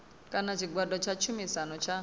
kana tshigwada tsha tshumisano tsha